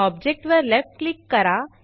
object वर left click करा